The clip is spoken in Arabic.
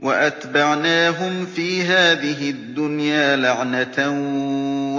وَأَتْبَعْنَاهُمْ فِي هَٰذِهِ الدُّنْيَا لَعْنَةً ۖ